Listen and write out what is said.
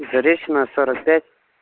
и заречная сорок пять